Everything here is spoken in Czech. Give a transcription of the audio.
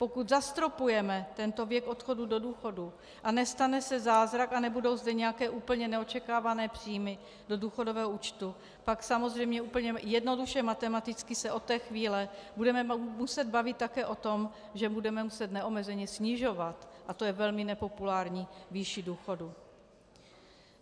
Pokud zastropujeme tento věk odchodu do důchodu a nestane se zázrak a nebudou zde nějaké úplně neočekávané příjmy do důchodového účtu, pak samozřejmě úplně jednoduše matematicky se od té chvíle budeme muset bavit také o tom, že budeme muset neomezeně snižovat, a to je velmi nepopulární, výši důchodu.